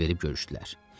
Əl verib görüşdülər.